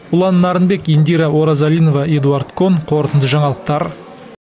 ұлан нарынбек индира оразалинова эдуард кон қорытынды жаңалықтар